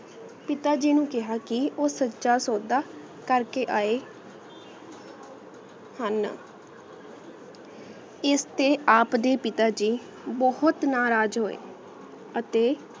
ਪਿਤਾ ਜੀ ਨੂ ਕਾਯ੍ਹਾ ਕੇ ਊ ਸਚਾ ਸੋਦਾ ਕਰ ਕੇ ਆ ਆਯ ਹੁਣ ਇਸ ਤੇ ਆਪ ਦੇ ਪਿਤਾ ਜੀ ਬੋਹਤ ਨਾਰਾਜ਼ ਹੋਯ ਅਤੀ